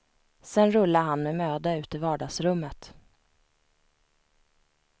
Sen rullar han med möda ut i vardagsrummet.